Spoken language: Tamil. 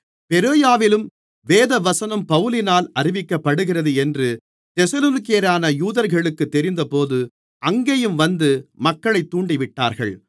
பெரோயாவிலும் தேவவசனம் பவுலினால் அறிவிக்கப்படுகிறது என்று தெசலோனிக்கேயரான யூதர்களுக்கு தெரிந்தபோது அங்கேயும் வந்து மக்களைத் தூண்டிவிட்டார்கள்